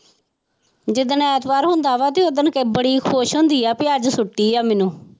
ਜਿੱਦਣ ਐਤਵਾਰ ਹੁੰਦਾ ਵਾ ਤੇ ਓਦਣ ਬੜੀ ਖ਼ੁਸ਼ ਹੁੰਦੀ ਆ ਵੀ ਅੱਜ ਛੁੱਟੀ ਆ ਮੈਨੂੰ।